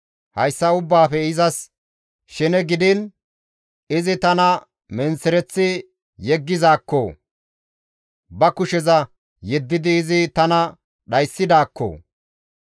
Hayssa ubbaafe izas shene gidiin izi tana menththereththi yeggizaakko! Ba kusheza yeddidi izi tana dhayssidaakko!